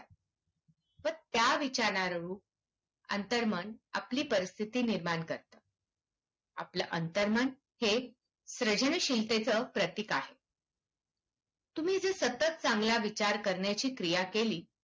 त्या विचांरानरूप अंतर्मन आपली परिस्थिती तयार करते. आपलं अंतर्मन हे सर्जनशीलतेचं प्रतीक आहेत. तुम्ही जर सतत चांगला विचार करण्याची क्रिया केली.